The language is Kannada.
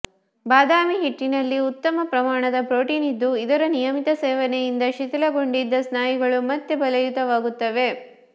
ಬಾದಾಮಿ ಹಿಟ್ಟಿನಲ್ಲಿ ಉತ್ತಮ ಪ್ರಮಾಣದ ಪ್ರೋಟೀನ್ ಇದ್ದು ಇದರ ನಿಯಮಿತ ಸೇವನೆಯಿಂದ ಶಿಥಿಲಗೊಂಡಿದ್ದ ಸ್ನಾಯುಗಳು ಮತ್ತೆ ಬಲಯುತವಾಗುತ್ತವೆ